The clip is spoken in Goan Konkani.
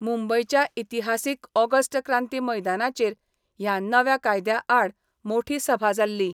मुंबयच्या इतिहासिक ऑगस्ट क्रांती मैदानाचेर ह्या नव्या कायद्या आड मोठी सभा जाल्ली.